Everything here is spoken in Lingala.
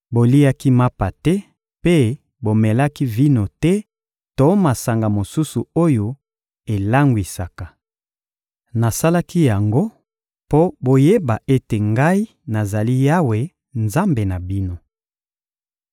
Boliaki mapa te mpe bomelaki vino te to masanga mosusu oyo elangwisaka. Nasalaki yango mpo boyeba ete Ngai nazali Yawe, Nzambe na bino.